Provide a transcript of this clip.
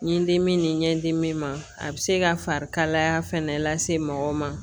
N ye n dimi ni n ɲɛ dimi ma a bɛ se ka farikalaya fɛnɛ lase mɔgɔw ma